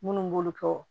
Minnu b'olu kɛ